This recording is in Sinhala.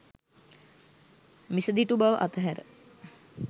මිසදිටු බව අතහැර